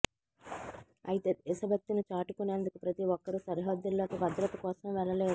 అయితే దేశభక్తిని చాటుకునేందుకు ప్రతి ఒక్కరూ సరిహద్దుల్లోకి భద్రత కోసం వెళ్లలేరు